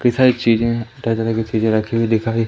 एक चीज है तरह तरह की चीजे रखी हुई दिखाई--